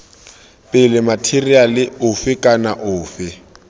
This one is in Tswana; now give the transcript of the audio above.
pele matheriale ofe kana ofe